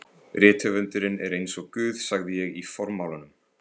Rithöfundurinn er eins og Guð sagði ég í formálanum.